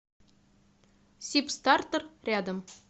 сибстартер рядом